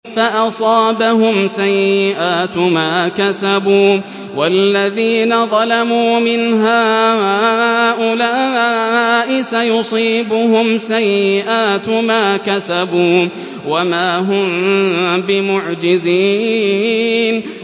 فَأَصَابَهُمْ سَيِّئَاتُ مَا كَسَبُوا ۚ وَالَّذِينَ ظَلَمُوا مِنْ هَٰؤُلَاءِ سَيُصِيبُهُمْ سَيِّئَاتُ مَا كَسَبُوا وَمَا هُم بِمُعْجِزِينَ